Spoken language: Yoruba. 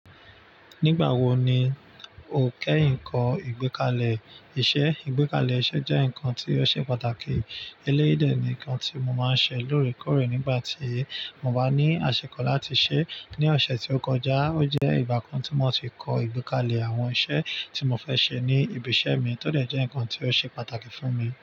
Nígbà wo ni o kẹ́yin ko ìgbékalẹ̀ iṣẹ́? Ìgbékalẹ̀ iṣẹ́ jẹ́ ǹkan tí ó ṣe pàtàkì. Eléyìí dẹ̀ ni nǹkan tí mo máa ṣe lóòrèkóòrè nígbà tí mo bá ní àsikọ̀ láti ṣẹ. Ni ọ̀sẹ̀ tí ó kọjá, ó jẹ́ ìgbà kan tí mo ti kọ ìgbékalẹ̀ àwọn iṣẹ́ tí mo fẹ́ ṣe ní ibi iṣẹ́ mi, tó dẹ̀ jẹ́ ǹkan tí ó ṣe pàtàkì fún mi.